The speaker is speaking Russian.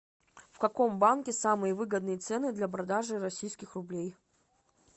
в каком банке самые выгодные цены для продажи российских рублей